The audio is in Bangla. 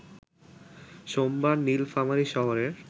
সোমবার নীলফামারী শহরের